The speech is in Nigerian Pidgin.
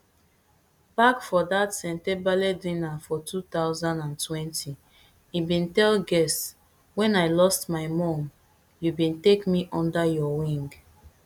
back for dat sentebale dinner for two thousand and twenty e bin tell guests wen i lost my mum you bin take me under your wing